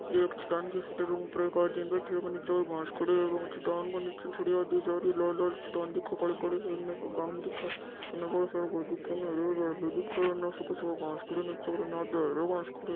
एक चट्टान की फोटो बे के ऊपर एक आदमी बैठो है बे के निचे घास खड़ा है चटान के निचे लाल लाल चट्टान दिखे काली काली है इन गाम दिखे इन बोला सारा घर दिखे इन हरो हरो दिखे इन सुखो सुखो घास खड़ा इन आधो हरो घास खड़ा है।